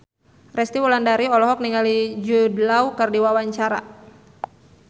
Resty Wulandari olohok ningali Jude Law keur diwawancara